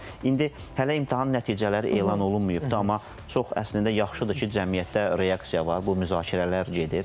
Bax indi hələ imtahan nəticələri elan olunmayıbdır, amma çox əslində yaxşıdır ki, cəmiyyətdə reaksiya var, bu müzakirələr gedir.